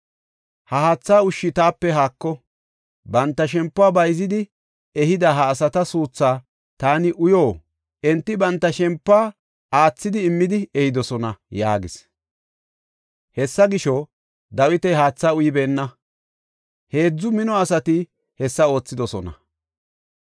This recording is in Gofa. “Ha haatha ushshi taape haako! Banta shempuwa bayzidi ehida ha asata suuthaa taani uyo? Enti banta shempuwa aathidi immidi ehidosona” yaagis. Hessa gisho, Dawiti haatha uybeenna. Heedzu mino asati hessa oothidosona.